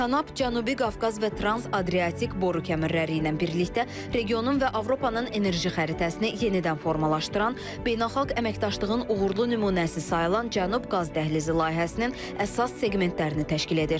Tanap Cənubi Qafqaz və Trans-Adriatik boru kəmərləri ilə birlikdə regionun və Avropanın enerji xəritəsini yenidən formalaşdıran, beynəlxalq əməkdaşlığın uğurlu nümunəsi sayılan Cənub Qaz Dəhlizi layihəsinin əsas seqmentlərini təşkil edir.